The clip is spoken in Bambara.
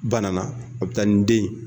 Banana a bɛ taa ni den ye